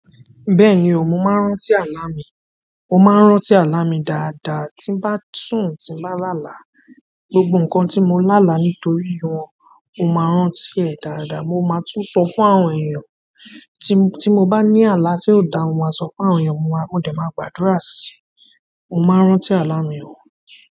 Bẹ́ẹ̀ni, mo máa ń rántí àlá mi, mó máa ń rántí àlá mi dáadáa. Tí bá sùn, tí bá làálàá, gbogbo nǹkan tí mo lá àlá nítorí wọn, mó máa ń rántí ẹ̀ dáadáa. Mo máa tún sọ fún àwọn èèyàn tí mo bá ní àlá tí ò da, mo máa sọ fún àwọn èèyàn, mọ́ dẹ̀ máa gbádura sí mo máa ń rántí àlà mi o.